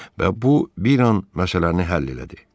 Və bu bir an məsələni həll elədi.